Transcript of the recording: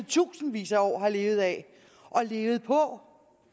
tusindvis af år har levet af og levet på